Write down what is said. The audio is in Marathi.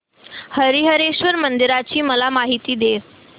हरीहरेश्वर मंदिराची मला माहिती दे